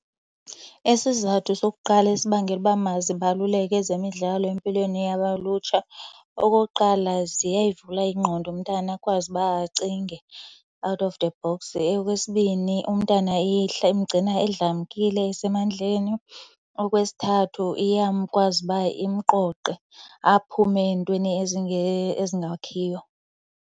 Isizathu sokuqala esibangela uba mazibaluleke ezemidlalo empilweni lutsha, okokuqala ziyayivula ingqondo, umntana akwazi uba acinge out of the box. Eyokwesibini, umntana imgcina edlamkile esemandleni. Okwesithathu, iyakwazi uba imqoqe aphume entweni ezingakhiyo.